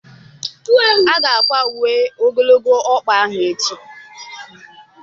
Aga-akwa uwe ogologo ọkpa ahụ echi